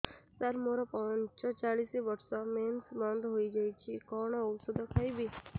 ସାର ମୋର ପଞ୍ଚଚାଳିଶି ବର୍ଷ ମେନ୍ସେସ ବନ୍ଦ ହେଇଯାଇଛି କଣ ଓଷଦ ଖାଇବି